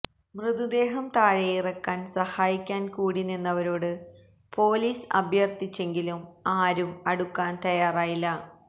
മൃതദേഹം താഴെയിറക്കാൻ സഹായിക്കാൻ കൂടി നിന്നവരോട് പൊലീസ് അഭ്യർഥിച്ചെങ്കിലും ആരും അടുക്കാൻ തയാറായില്ല